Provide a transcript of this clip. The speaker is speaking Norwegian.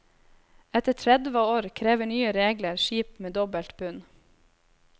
Etter tredve år krever nye regler skip med dobbelt bunn.